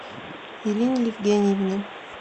ирине евгеньевне